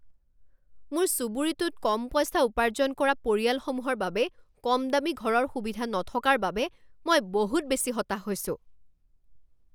মোৰ চুবুৰীটোত কম পইচা উৰ্পাজন কৰা পৰিয়ালসমূহৰ বাবে কমদামী ঘৰৰ সুবিধা নথকাৰ বাবে মই বহুত বেছি হতাশ হৈছোঁ।